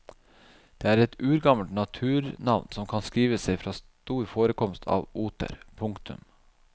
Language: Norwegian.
Det er et urgammelt naturnavn som kan skrive seg fra stor forekomst av oter. punktum